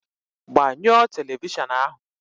Gbanyụọ telivishọn ahụ!